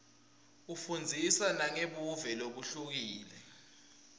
ifundzisa nangebuve lobuhlukile